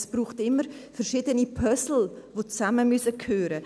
Es braucht immer verschiedene Puzzle, die zusammengehören müssen.